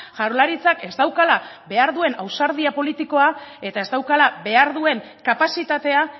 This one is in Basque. jaurlaritzak ez daukala behar duen ausardia politikoa eta ez daukala behar duen kapazitatea